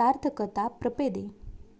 सार्थकतां प्रपेदे